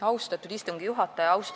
Austatud istungi juhataja!